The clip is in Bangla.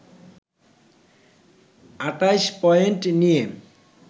২৮ পয়েন্ট নিয়ে